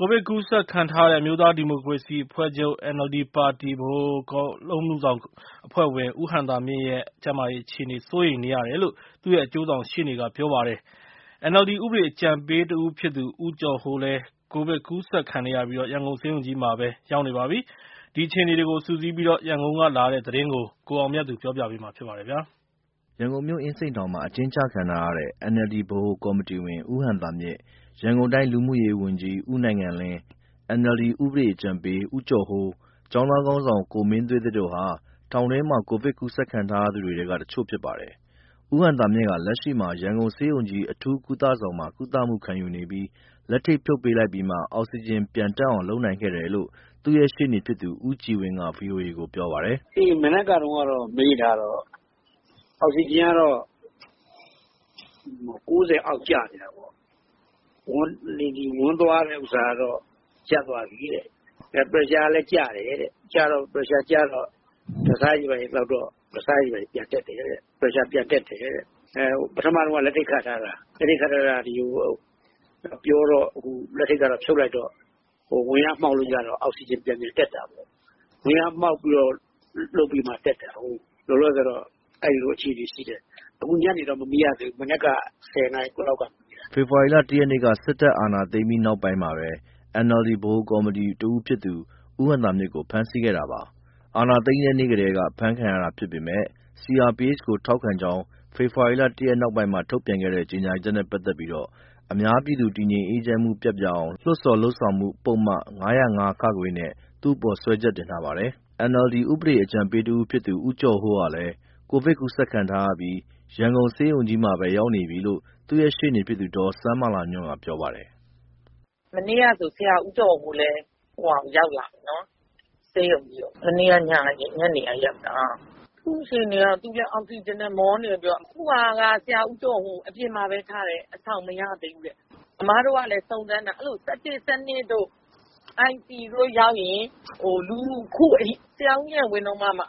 ိုဗစ်ကူးစက်ခံထားရတဲ့ အမျိုးသားဒီမိုကရေစီအဖွဲ့ချုပ် ပါတီ ဗဟိုကော်မတီဝင် ဦးဟံသာမြင့်ရဲ့ကျန်းမာရေးအခြေအနေ စိုးရိမ်နေရတယ်လို့ သူ့ရဲ့ အကျိုးဆောင်ရှေ့နေက ပြောပါတယ်။ NLD ဥပဒေ အကြံပေးတဦးဖြစ်သူ ဦးကျော်ဟိုးလည်း ကိုဗစ်ကူးစက်ပြီး ရန်ကုန်ဆေးရုံကြီးမှာပဲ ရောက်နေပါပြီ။ ဒီအခြေအနေတွေကိုစုစည်းပြီး ရန်ကုန်ကလာတဲ့သတင်းကို ကိုအောင်မြတ်သူက ပြောပြပါမယ်။ ရန်ကုန်မြို့ အင်းစိန်အကျဉ်းထောင်မှာ အကျဉ်းချခံထားရတဲ့ NLD ဗဟိုကော်မတီဝင် ဦးဟံသာမြင့် ၊ ရန်ကုန်တိုင်း လူမှုရေးဝန်ကြီး ဦးနိုင်ငံလင်း၊ NLD ဥပဒေအကြံပေး ဦးကျော်ဟိုး၊ ကျောင်းသားခေါင်းဆောင် ကိုမင်းသွေးသစ်တို့ဟာ ထောင်တွင်းမှာ ကိုဗစ်ကူးစက်ခံထားရသူတွေထဲက တချို့ဖြစ်ပါတယ်။ ဦးဟံသာမြင့်ဟာ လက်ရှိမှာ ရန်ကုန်ဆေးရုံကြီး အထူးကုသဆောင်မှာ ကုသမှုခံယူနေပြီး လက်ထိပ်ဖြုတ်ပေးလိုက်ပြီးမှ အောက်ဆီဂျင်ပြန်တက်အောင် လုပ်နိုင်ခဲ့တယ်လို့ သူ့ရဲ့ရှေ့နေဖြစ်သူ ဦးကြည်ဝင်းက ဗီအိုအေကို ပြောပါတယ်။ "မနက်ကတုန်းက မေးထားတာကတော့ အောက်ဆီဂျင်ကတော့ ၉၀ အောက် ကျနေတာပေါ့။ ဝမ်းသွားတာကတော့ ရပ်သွားပြီတဲ့။ ပရက်ရှာကလည်း ကျတယ်တဲ့။ ပရက်ရှာကျလို့ ဓါတ်ဆားတွေဘာတွေသောက်တော့ ပရက်ရှာ ပြန်တက်တယ်။ ပထမတော့ လက်ထိပ်ခတ်ထားတာ။ ပြောတော့ လက်ထိပ်ကတော့ ဖြုတ်လိုက်တော့ ဝါးလျားမှောက်ရတော့ အောက်ဆီဂျင် ပြန်ပြန်တက်တာပေါ့။ ဝါးလျားမှောက်မှ အောက်ဆီဂျင် ပြန်ပြန်တက်တာကို။ လောလောဆယ်တော့ အဲလိုအခြေအနေရှိတယ်။ ခုညနေတော့ မမေးရသေးဘူး၊ မနက်က ၁၀ နာရီခွဲလောက်ကမေးတာ။" ဖေဖော်ဝါရီလ ၁ ရက်နေ့ စစ်တပ်က အာဏာသိမ်းပြီးနောက်မှာပဲ NLD ဗဟိုကော်မတီဝင်တဦးဖြစ်သူ ဦးဟံသာမြင့်ကို ဖမ်းဆီးခဲ့တာပါ။ အာဏာသိမ်းတဲ့နေ့ကတည်းက အဖမ်းခံခဲ့ရတာဖြစ်ပေမယ့် CRPH ကို ထောက်ခံကြောင်း ဖေဖော်ဝါရီ ၁ ရက်နောက်ပိုင်းမှာမှ ထုတ်ပြန်တဲ့ ကြေငြာချက်နဲ့ပတ်သက်ပြီး အများပြည်သူတည်ငြိမ်အေးချမ်းမှု ပျက်ပြားအောင် လှုံ့ဆော် လုပ်ဆောင်မှု ပုဒ်မ ၅၀၅ နဲ့ သူ့အပေါ် စွဲချက်တင်ထားပါတယ်။ NLD ဥပဒေ အကြံပေးတဦးဖြစ်သူ ဦးကျော်ဟိုးဟာလည်း ကိုဗစ်ကူးစက်ခံရပြီး ရန်ကုန်ဆေးရုံကြီးမှာပဲ ရောက်နေပြီလို့ သူ့ရဲ့ရှေ့နေဖြစ်သူ ဒေါ်စန်းမာလာညွန့်က ပြောပါတယ်။ "မနေ့ကဆိုလည်း ဆရာဦးကျော်ဟိုး ဆေးရုံကြီးရောက်လာပြီ။ မနေ့က ညနေကရောက်တာ။ သူ့အခြေအနေက သူလည်း အောက်ဆီဂျင်နဲ့ မောနေတယ်ပြောတယ်။ ခုက ဆရာဦးကျော်ဟိုးကို အပြင်မှာပဲထားတယ်။ အဆောင်မရသေးဘူးတဲ့၊ အမတို့လည်းစုံစမ်းတာပေါ့။ အဲလို အဆောင် ၁၁၊ ၁၂ တို့ ICU တို့ရောက်ရင် ခု ဆရာဦးဉာဏ်ဝင်းတို့တုန်းကမှ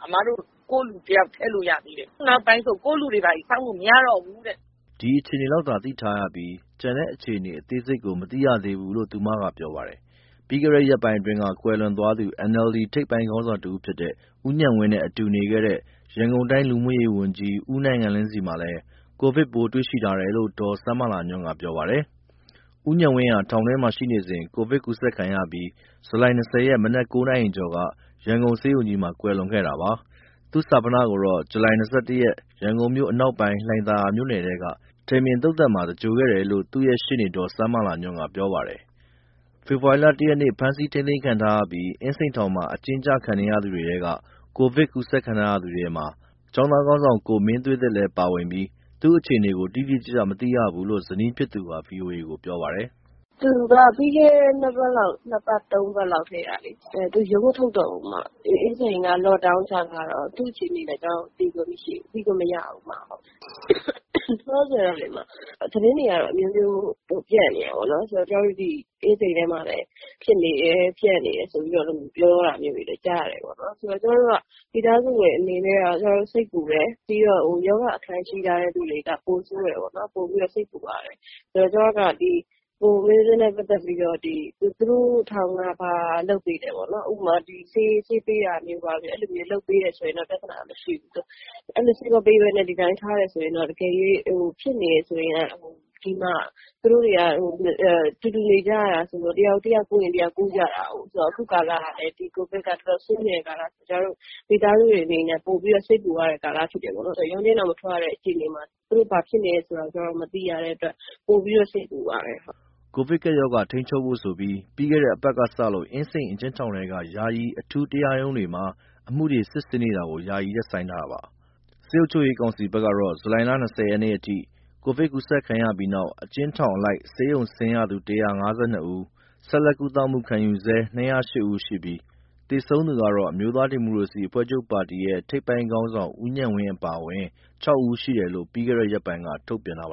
ကိုယ့်လူတယောက် ထည့်လို့ရတယ်။ ခုနောက်ပိုင်းဆို ကိုယ့်လူတွေဘာတွေ စောင့်မရတော့ဘူးတဲ့။" ဒီအခြေအနေလောက်သာသိထားရပြီး ကျန်တဲ့ အခြေအနေအသေးစိတ် မသိရသေးဘူးလို့ သူကပြောပါတယ်။ပြီးခဲ့တဲ့ရက်ပိုင်းက ကွယ်လွန်သွားသူ NLD ထိပ်ပိုင်းခေါင်းဆောင်တစ်ဦးဖြစ်တဲ့ ဦးဉာဏ်ဝင်းနဲ့ အတူနေခဲ့တဲ့ ရန်ကုန်တိုင်းလူမှုရေးဝန်ကြီး ဦးနိုင်ငံလင်းဆီမှာလည်း ကိုဗစ်ပိုးတွေ့ရှိထားတယ်လို့ ဒေါ်စန်းမာလာညွန့်ကပြောပါတယ်။ ဦးဉာဏ်ဝင်းဟာ ထောင်တွင်းမှာရှိနေစဉ် ကိုဗစ်ကူးစက်ခံရပြီး ဇူလိုင် ၂၀ ရက် မနက် ၉ နာရီကျော်က ရန်ကုန်ဆေးရုံကြီးမှာ ကွယ်လွန်ခဲ့တာပါ။ သူ့ဈာပနကိုတော့ ဇူလိုင် ၂၁ ရက်က ရန်ကုန်မြို့အနောက်ပိုင်း လှိုင်သာယာမြို့နယ်ထဲက ထိန်ပင်သုသာန်မှာ သင်္ဂြိုဟ်ခဲ့တယ်လို့ သူ့ရှေ့နေ ဒေါ်စန်းမာလာညွန့်ကပြောပါတယ်။ ဖေဖော်ဝါရီ ၁ ရက်နေ့က ဖမ်းဆီးထိန်းသိမ်းခံထားရပြီး အင်းစိန်ထောင်မှာ အကျဉ်းကျနေသူတွေထဲက ကိုဗစ်ကူးခံထားရသူတွေထဲမှာ ကျောင်းသားခေါင်းဆောင် ကိုမင်းသွေးသစ်လည်းပါဝင်ပြီး သူ့အခြေအနေကို တိတိကျကျမသိရဘူးလို့ ဇနီးဖြစ်သူက ဗွီအိုကိုပြောပါတယ်။ "သူကပြီးခဲ့တဲ့ ၂ ပတ် ၃ ပတ်လောက်ထဲကလေ ရုံးမထုတ်တော့ဘူးအမ။ အင်းစိန်က လော့ခ်ဒေါင်းချထားတော့ သူ့အခြေအနေလည်း သိခွင့်မရှိဘူး။ သိလို့မရဘူး။ ခုလောလောဆယ်တော့လေ သတင်းတွေကအမျိုးမျိုးပြန့်နေတာပေါ့လေ။ ကျမတို့ ဒီအင်းစိန်ထဲမှာလည်း ဖြစ်နေတယ်။ ပျံ့နေတယ်ဆိုတာမျိုးပြောတာတွေကြားနေရတယ်။ ကျမတို့မိသားစုတွေအနေနဲ့ စိတ်ပူတယ်။ ပြီးတော့ ရောဂါအခံရှိထားသူတွေက ပိုပြီးတော့စိတ်ပူရတယ်၊ ကိုဗစ်နဲ့ပတ်သတ်လို့ သူတို့ထောင်က ဘာလုပ်ပေးလဲပေါ့။ ဥပမာ ဆေးပေးတာတို့ဘာတို့ဆို ပြဿနာမရှိဘူး။ အဲလိုဆေးမပေးဘဲ ဒီတိုင်းဘဲထားရင် ဖြစ်နေတယ်ဆိုရင် ဒီမှာ သူတို့တွေက တူတူနေကြရတာဆိုတော့ တယောက်ကူးရင် ကျန်တဲ့သူကူးတာလေ ခုကာလကလည်း ကိုဗစ်က တော်တော်ဆိုးနေတဲ့ ကာလဆိုတော့ မိသားစုတွေအနေနဲ့ ပိုစိတ်ပူရတဲ့ကာလဖြစ်တယ်ပေါ့။ ရုံးချိန်းတောင် မထွက်တဲ့အခြေအနေမှာ သူတို့ဘာဖြစ်လည်း မသိရတဲ့အတွက် ပိုပြီးတော့စိတ်ပူရတယ်။" ကိုဗစ်ကပ်ရောဂါထိန်းချုပ်ဖို့ဆိုပြီး ပြီးခဲ့တဲ့တပတ်ကစလို့ အင်းစိန် အကျဉ်းထောင်ထဲက ယာယီ အထူး တရားရုံးတွေမှာ အမှုတွေ စစ်ဆေးနေတာကို ယာယီရပ်ဆိုင်းထားတာပါ။ စစ်အုပ်ချုပ်ရေးကောင်စီဘက်ကတော့ ဇူလိုင် ၂၀ ရက်အထိ ကိုဗစ်ကူးစက်ခံရပြီးတဲ့နောက် အကျဉ်းထောင် အလိုက် ဆေးရုံဆင်းရသူ ၁၅၂ ဦး၊ ဆက်လက်ကုသမှုခံယူနေဆဲ ၂၀၈ ဦး ရှိပြီး သေဆုံးသူကတော့ အမျိုး သားဒီမိုကရေစီအဖွဲ့ချုပ်ပါတီရဲ့ထိပ်ပိုင်းခေါင်းဆောင် ဦးဉာဏ်ဝင်းအပါအဝင် ၆ ဦးရှိတယ်လို့ ပြီးခဲ့တဲ့ ရက်ပိုင်းက ထုတ်ပြန်ထားပါတ